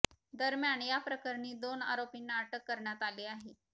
दरम्यान या प्रकरणी दोन आरोपींना अटक करण्यात आली आहे